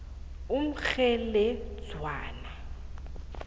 umkgheledzwana